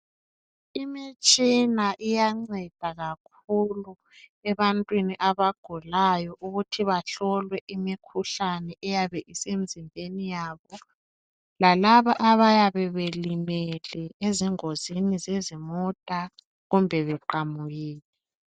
Imitshina iyanceda kakhulu ebantwini abagulayo ukuthi bahlolwe imikhuhlane eyabe isemzimbeni yabo. Lalaba abayabe belimele ezingozini zezimota kumbe beqamukile.